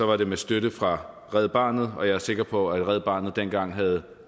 var det med støtte fra red barnet og jeg er sikker på at red barnet dengang havde